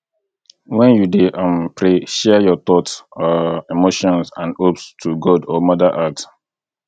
when you dey um pray share your thought um emotions and hopes to god or mother earth